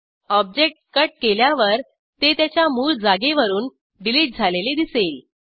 object cut केल्यावर ते त्याच्या मूळ जागेवरून डिलीट झालेले दिसेल